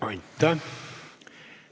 Aitäh!